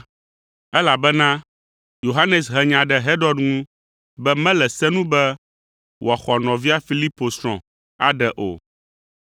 elabena Yohanes he nya ɖe Herod ŋu be mele se nu be wòaxɔ nɔvia Filipo srɔ̃ aɖe o.